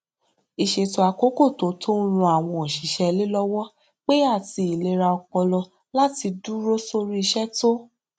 ìṣètò àkókò tó tọ n ran àwọn òṣìṣẹ ilé lọwọ pé àti ìlera ọpọlọláti dúró sórí iṣẹ tó